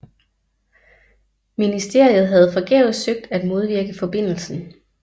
Ministeriet havde forgæves søgt at modvirke forbindelsen